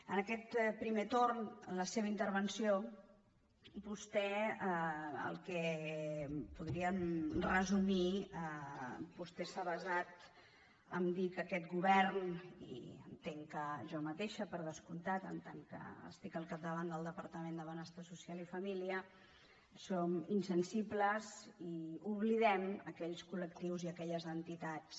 en aquest primer torn en la seva intervenció el que podríem resumir vostè s’ha basat a dir que aquest go·vern i entenc que jo mateixa per descomptat en tant que estic al capdavant del departament de benestar social i família som insensibles i oblidem aquells col·lectius i aquelles entitats